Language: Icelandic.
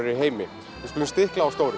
í heimi við skulum stikla á stóru